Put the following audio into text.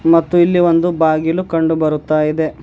ಮತ್ತು ಇಲ್ಲಿ ಒಂದು ಬಾಗಿಲು ಕಂಡು ಬರುತ್ತಾ ಇದೆ.